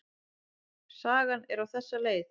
Sagan er á þessa leið: